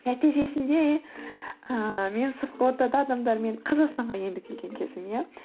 нәтижесінде ыыы мен сыртқы ортада адамдармен қазақстанға енді келген кезім иә